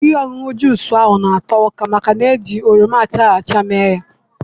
Ihe ọṅụṅụ juz ahụ na-ato ụka màkà na-iji oroma achara acha mee ya.